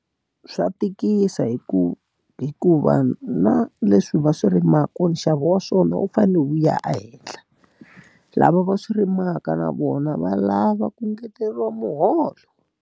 Swa tikisa hi ku hikuva na leswi va swi rimaka nxavo wa swona wu fanele wu ya ehenhla. Lava va swi rimaka na vona va lava ku ngeteriwa muholo.